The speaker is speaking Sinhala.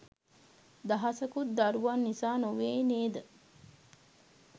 දහසකුත් දරුවන් නිසා නොවේ නේද?